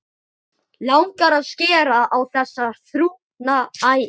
Langar að skera á þessar þrútnu æðar.